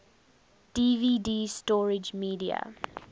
dvd storage media